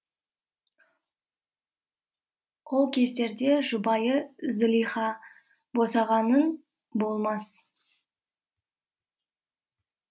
ол кездерде жұбайы зылиха босағаның болмас